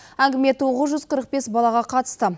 әңгіме тоғыз жүз қырық бес балаға қатысты